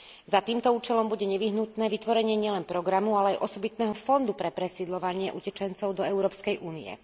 S týmto cieľom bude nevyhnutné vytvoriť nielen program, ale aj osobitný fond pre presídľovanie utečencov do Európskej únie.